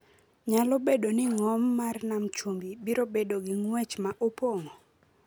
nyalo bedo ni ng’om mar Nam Chumbi biro bedo gi ng’wech ma opong’o,